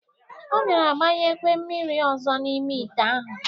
Ọ bịara gbanyekwe mmiri ọzọ n'ime ite ahụ.